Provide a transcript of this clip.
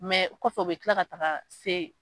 kɔfɛ u bɛ kila ka taga se